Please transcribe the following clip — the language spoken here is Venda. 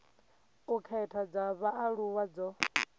u khetha dza vhaaluwa dzo